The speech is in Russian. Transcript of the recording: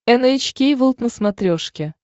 эн эйч кей волд на смотрешке